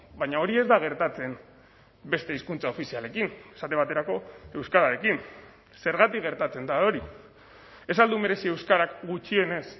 baina hori ez da gertatzen beste hizkuntza ofizialekin esate baterako euskararekin zergatik gertatzen da hori ez al du merezi euskarak gutxienez